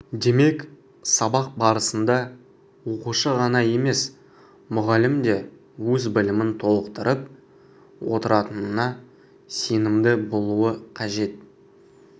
демек сабақ барысында оқушы ғана емес мұғалім де өз білімін толықтырып отыратынына сенімді болуы қажет